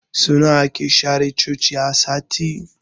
Sau nawa ake share cinkin Coci a sati?